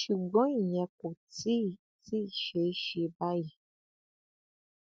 ṣùgbọn ìyẹn kò tí ì tí ì ṣe é ṣe báyìí